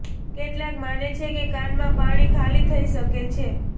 કેટલાક માને છે કે કાનમાં પાણી ખાલી થઈ શકે છે